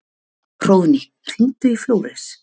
Hróðný, hringdu í Flóres.